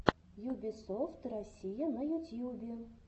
юбисофт россия на ютьюбе